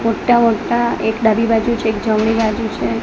મોટા મોટા એક ડાબી બાજુ છે એક જમણી બાજુ છે.